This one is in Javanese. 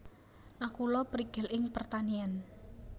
Nakula prigel ing pertanian